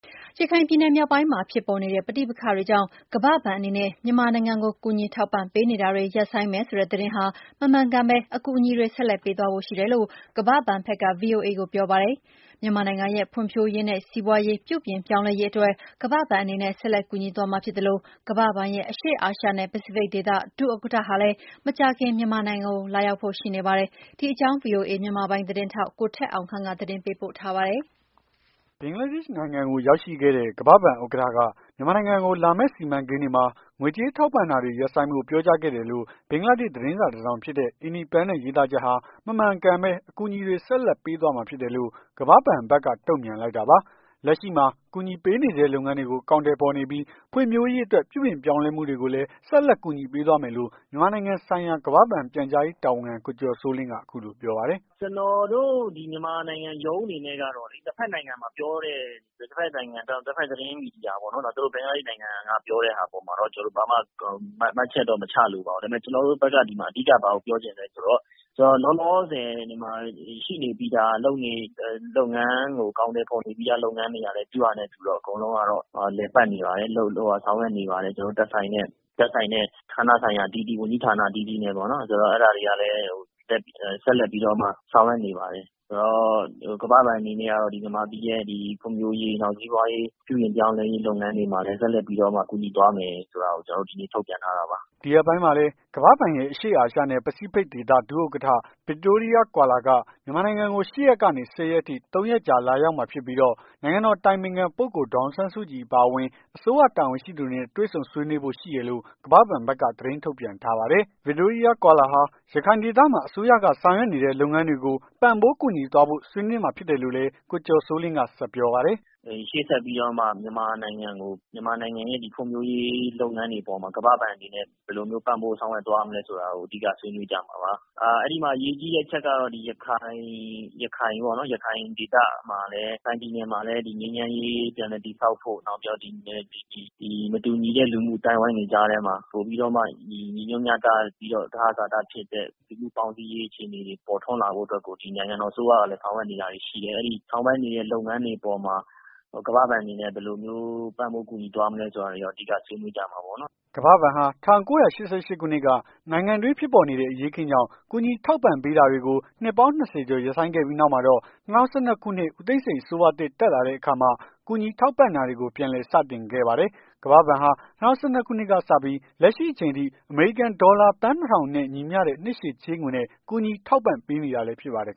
ရခိုင်ပြည်နယ် မြောက်ပိုင်းမှာ ဖြစ်ပေါ်နေတဲ့ ပဋိပက္ခတွေကြောင့် ကမ္ဘာ့ဘဏ်အနေနဲ့ မြန်မာနိုင်ငံကို ကူညီထောက်ပံ့ ပေးနေတာတွေ ရပ်ဆိုင်းမယ်ဆိုတဲ့ သတင်းဟာ မမှန်ကန်ဘဲ အကူညီတွေ ဆက်လက်ပေးသွားဖို့ရှိတယ်လို့ ကမ္ဘာဘဏ်ဖက်က ဗွီအိုအေကို ပြောပါတယ်။ မြန်မာနိုင်ငံရဲ့ ဖွံဖြိုးရေးနဲ့ စီးပွားရေးပြုပြင်ပြောင်းလဲရေး အတွက် ကမ္ဘာဘဏ်အနေနဲ့ ဆက်လက်ကူညီသွားမှာဖြစ်သလို၊ ကမ္ဘာဘဏ်ရဲ့ အရှေ့အာရှနဲ့ပစိဖိတ်ဒေသ ဒုဥက္ကဌဟာလည်း မကြာခင် မြန်မာနိုင်ငံကို လာရောက်ဖို့ရှိနေပါတယ်။ ဒီအကြောင်းကို ဗွီအိုအေ မြန်မာပိုင်း သတင်းထောက် ကိုထက်အောင်ခန့်က သတင်းပေးပို့ထားပါတယ်။ ဘင်္ဂလားဒေ့ရှ်နိုင်ငံကို ရောက်ရှိခဲ့တဲ့ ကမ္ဘာ့ဘဏ်ဥက္ကဌက မြန်မာနိုင်ငံကို လာမယ့်စီမံကိန်းတွေမှာ ငွေကြေးကူညီထောက်ပံ့တာတွေ ရပ်ဆိုင်းဖို့ ပြောကြားခဲ့တယ်လို့ ဘင်္ဂလားဒေ့ရှ်သတင်းစာ တစောင်ဖြစ်တဲ့ Independence ရေးသားချက်ဟာ မမှန်ကန်ဘဲ အကူအညီတွေ ဆက်လက်ပေးသွားမှာ ဖြစ်တယ်လို့ ကမ္ဘာ့ ဘဏ်က တုန့်ပြန်လိုက်တာပါ။ လက်ရှိမှာ ကူညီပေးနေဆဲ လုပ်ငန်းတွေကို အကောင်အထည်ဖေါ်နေပြီး ဖွံ့ဖြိုးရေးအတွက် ပြုပြင်ပြောင်းလဲမှုတွေကိုလည်း ဆက်လက်ကူညီပေးသွားမယ်လို့ မြန်မာနိုင်ငံဆိုင်ရာ ကမ္ဘာ့ဘဏ် ပြန်ကြားရေး တာဝန်ခံ ကိုကျော်စိုးလင်းက အခုလိုပြောပါတယ်။ "ကျွန်တော်တို့ ဒီမြန်မာနိုင်ငံရုံးအနေနဲ့ကတော့ တဖက်နိုင်ငံမှာပြောတဲ့ တဖက်နိုင်ငံသတင်းမီဒီယာပေါ့နော် သူတို့ဘင်္ဂလားဒေ့ရှ်မီဒီယာပေါ့ ဘင်္ဂလားဒေ့ရှ်နိုင်ငံက ပြောတဲ့ဟာပေါ့နော် ကျွန်တော်တို့ ဘာမှ မှတ်ချက် မချလိုပါဘူး။ ကျွန်တော်တို့ဘက်က အဓိက ဘာကိုပြောချင်လည်းဆိုတော့ လောလောဆယ်မှာ ရှိနေပြီးသား လုပ်နေတဲ့ လုပ်ငန်း အကောင်အထည်ဖော်နေပြီးသား လုပ်ငန်းတွေကလည်း သူ့ဟာနဲ့သူက အကုန်လုံးက လည်ပတ်နေပါတယ်။ ဆောင်ရွက်နေပါတယ်။ ကျွန်တော်တို့သက်ဆိုင်တဲ့ ဌာနဆိုင်ရာအသီးသီး ဝန်ကြီးဌာန အသီးသီးနဲ့ပေါ့နော် အဲ့ဒါတွေကလည်း ဆက်လက်ပြီးတော့မှ ဆောင်ရွက်နေပါတယ်။ ကမ္ဘာ့ဘဏ်အနေနဲ့က တော့ မြန်မာပြည်ရဲ့ ဖွံ့ဖြိုးရေး စီးပွားရေး ပြုပြင်ပြောင်းလဲရေးတွေမှာလည်း ဆက်လက်ပြီး ကူညီသွားမယ်ဆို တာကို ကျွန်တော်တို့ ဒီနေ့ ထုတ်ပြန်ထားတာပါ။" ဒီရက်ပိုင်းမှာလည်း ကမ္ဘာ့ဘဏ်ရဲ့ အရှေ့အာရှနဲ့ ပစိဖိတ်ဒေသ ဒုဥက္ကဌ ဗစ်တိုးရီးယား ကွာလွာ က မြန်မာနိုင်ငံကို ၈ ရက်ကနေ ၁၀ ရက်အထိ ၃ ရက်ကြာ လာရောက်မှာဖြစ်ပြီးတော့ နိုင်ငံတော် အတိုင်ပင်ခံ ပုဂ္ဂိုလ် ဒေါ်အောင်ဆန်းစုကြည် အပါအဝင် အစိုးရ တာဝန်ရှိသူတွေနဲ့ တွေ့ဆုံဆွေးနွေးဖို့ရှိတယ်လို့ ကမ္ဘာ့ ဘဏ်က သတင်းထုတ်ပြန်ထားပါတယ်။ ဗစ်တိုးရီးယားကွာလွာဟာ ရခိုင်ဒေသမှာ အစိုးရက ဆောင်ရွက်နေတဲ့ လုပ်ငန်းတွေကို ပံ့ပိုးကူညီသွားဖို့ ဆွေးနွေးမှာဖြစ်တယ်လို့လည်း ကိုကျော်စိုးလင်းက ဆက်ပြောပါတယ်။ " သူဒီလာတဲ့အချိန်မှာလည်း ရှေ့ဆက်ပြီးတော့မှ မြန်မာနိုင်ငံကို မြန်မာနိုင်ငံရဲ့ ဖွံ့ဖြိုးရေး လုပ်ငန်းတွေအပေါ် မှာ ကမ္ဘာ့ဘဏ် အနေနဲ့ ဘယ်လိုမျိုး ပံ့ပိုးဆောင်ရွက်သွားမလည်းဆိုတာကို အဓိက ဆွေးနွေးကြမှာပါ။ အဲ့ဒီမှာ အရေးကြီးတဲ့အချက်ကတော့ ရခိုင် ရခိုင်ပေါ့နော် ရခိုင်ဒေသမှာလည်း ရခိုင်ပြည်နယ်မှာလည်း ငြိမ်းချမ်းရေး ပြန်လည်တည်ဆောက်ဖို့ နောက်ပြီးတော့ ဒီမတူညီတဲ့ လူမှုအသိုင်းအဝိုင်းတွေကြားထဲမှာ ပိုပြီးတော့မှ ညီညွတ် မျှတပြီး သဟဇာတဖြစ်တဲ့ ပေါင်းစည်းရေး ပေါ်ထွန်းလာဖို့ အတွက်ကို ဒီနိုင်ငံတော်အစိုးရကလည်း ဆောင်ရွက် နေတာတွေရှိတယ်။ အဲ့ဒီဆောင်ရွက်နေတဲ့ လုပ်ငန်းတွေအပေါ်မှာ ကမ္ဘာ့ဘဏ်အနေနဲ့ ဘယ်လိုမျိုး ပံ့ပိုးကူညီ သွားမလည်းဆိုတာ အဓိကဆွေးနွေးသွားကြမှာပေါ့နော်။" ကမ္ဘာ့ဘဏ်ဟာ ၁၉၈၈ခုနှစ်က နိုင်ငံအတွင်း ဖြစ်ပေါ်နေတဲ့ အရေးအခင်းကြောင့် ကူညီထောက်ပံ့ပေးတာတွေ ကို နှစ်ပေါင်း ၂၀ ကျော် ရပ်ဆိုင်းခဲ့ပြီးနောက်မှာတော့ ၂၀၁၂ ခုနှစ် ဦးသိန်းစိန်အစိုးရသစ် တက်လာတဲ့အခါမှ ကူညီထောက်ပံ့ပေးတာတွေကို ပြန်လည်စတင်ခဲ့ပါတယ်။ ကမ္ဘာ့ဘဏ်ဟာ ၂၀၁၂ ခုနှစ်ကစပြီး လက်ရှိအချိန်ထိ အမေရိကန်ဒေါ်လာ သန်း ၂ ထောင်နဲ့ညီမျှတဲ့ နှစ်ရှည်ချေးငွေ နဲ့ ကူညီထောက်ပံ့ပေးနေတာလည်း ဖြစ်ပါတယ်